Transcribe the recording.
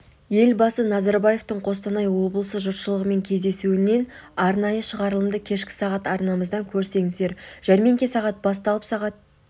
елбасы назарбаевтың қостанай облысы жұртшылығымен кездесуінен арнайы шығарылымды кешкі сағат арнамыздан көріңіздер жәрмеңке сағат басталып сағат